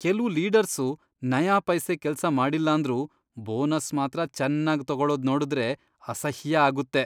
ಕೆಲ್ವು ಲೀಡರ್ಸು ನಯಾಪೈಸೆ ಕೆಲ್ಸ ಮಾಡಿಲ್ಲಾಂದ್ರೂ ಬೋನಸ್ ಮಾತ್ರ ಚೆನ್ನಾಗ್ ತಗೊಳದ್ ನೋಡುದ್ರೆ ಅಸಹ್ಯ ಆಗುತ್ತೆ.